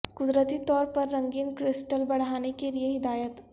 قدرتی طور پر رنگین کرسٹل بڑھانے کے لئے ہدایات